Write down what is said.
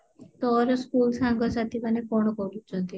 ତୋର school ସାଙ୍ଗସାଥି ମାନେ କଣ କରୁଛନ୍ତି